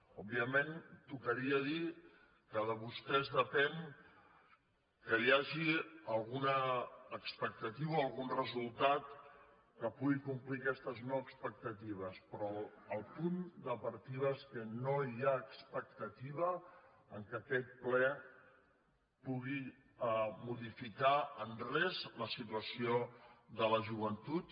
òbviament tocaria dir que de vostès depèn que hi hagi alguna expectativa o algun resultat que pugui complir aquestes no expectatives però el punt de partida és que no hi ha expectativa que aquest ple pugui modificar en res la situació de la joventut